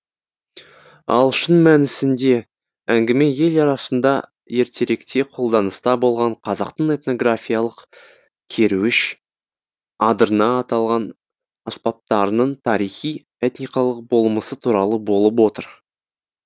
ал шын мәнісінде әңгіме ел арасында ертеректе қолданыста болған қазақтың этнографиялық керуіш адырна аталған аспаптарының тарихи этникалық болмысы туралы болып отыр